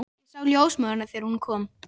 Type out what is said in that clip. Ég sá ljósmóðurina þegar hún kom.